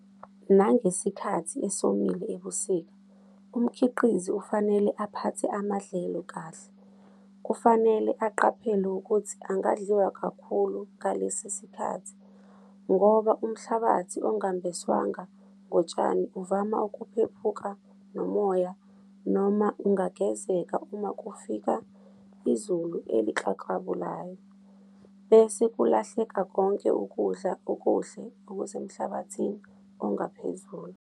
Nangesikhathi esomile ebusika, umkhiqizi ufanele aphathe amadlelo kahle. Kufanele aqaphele ukuthi angadliwa kakhulu ngalesi sikhathi ngoba umhlabathi ongembeswanga ngotshani uvama ukuphephuka nomoya noma ungagezeka uma kufika izulu eliklaklabulayo, bese kulahleka konke ukudla okuhle okusemhlabathini ongaphezulu.